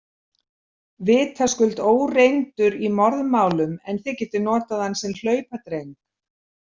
Vitaskuld óreyndur í morðmálum en þið getið notað hann sem hlaupadreng.